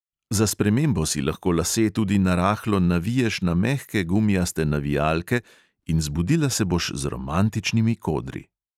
Za spremembo si lahko lase tudi narahlo naviješ na mehke gumijaste navijalke in zbudila se boš z romantičnimi kodri.